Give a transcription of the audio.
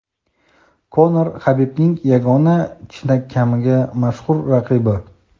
Konor Habibning yagona chinakamiga mashhur raqibi.